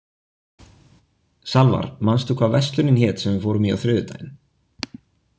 Salvar, manstu hvað verslunin hét sem við fórum í á þriðjudaginn?